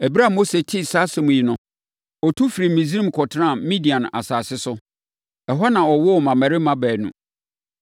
Ɛberɛ a Mose tee saa asɛm yi no, ɔtu firii Misraim kɔtenaa Midian asase so. Ɛhɔ na ɔwoo mmammarima baanu.